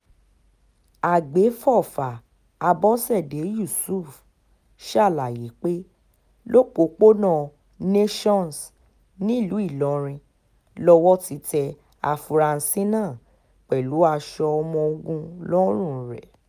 àgbéfọ́fà àbọ̀ṣẹ̀dé yusuf ṣàlàyé pé lọ́pọ̀pọ̀nà nations nílùú ìlọrin lowó ti tẹ àfúrásì náà pẹ̀lú aṣọ ọmọ ogun lọ́rùn rẹ̀